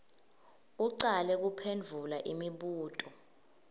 ucale kuphendvula imibuto